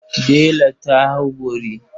Dela ta hau bori.